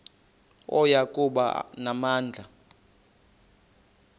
oya kuba namandla